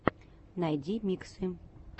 найди миксы